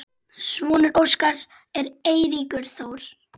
Sonur Óskars er Eiríkur Þór.